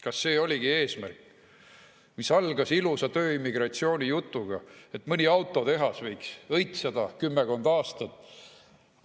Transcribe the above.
Kas see oligi eesmärk, mis algas ilusa tööimmigratsiooni jutuga, et mõni autotehas võiks õitseda kümmekond aastat?